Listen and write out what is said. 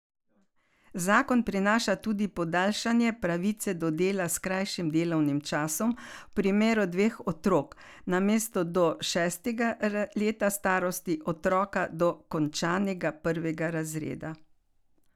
Zakon prinaša tudi podaljšanje pravice do dela s krajšim delovnim časom v primeru dveh otrok, namesto do šestega leta starosti otroka do končanega prvega razreda.